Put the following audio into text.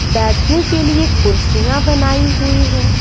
बैठने के लिए कुर्सियां बनाई हुई है।